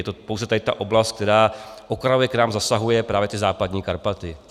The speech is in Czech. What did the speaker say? Je to pouze tady ta oblast, která okrajově k nám zasahuje, právě ty Západní Karpaty.